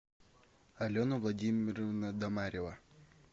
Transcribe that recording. алена владимировна домарева